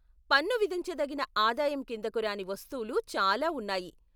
పన్ను విధించదగిన ఆదాయం కిందకు రాని వస్తువులు చాలా ఉన్నాయి.